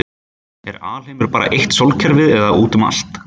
Er alheimurinn bara eitt sólkerfi eða útum allt?